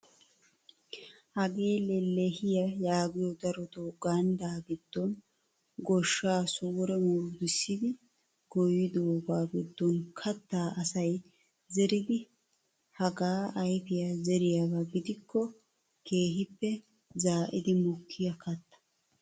Hagee lellehiyaa yaagiyoo darotoo ganddaa giddon gooshshaa sure murutussidi goyidoogaa giddon kaattaa asay zeridi hagaa ayfiyaa zeriyaaba gidikko keehippe zaa'idi mokkiyaa katta.